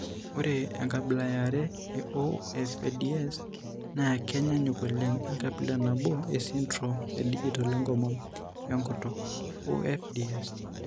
Ore enkabila eare eOFDS naa kenyaanyuk oleng onkabila nabo esindirom edigital enkomom enkutuk (OFDS).